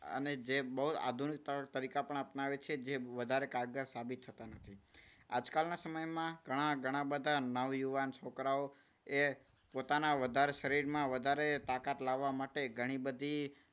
અને જે બહુ આધુનિક તારીકા પણ અપનાવે છે જે વધારે કારગર સાબિત થતા નથી. આજકાલના સમયમાં ઘણા ઘણા બધા નવ યુવાનો છોકરાઓ એ પોતાના વધારે શરીરમાં વધારે તાકાત લાવવા માટે ઘણી બધી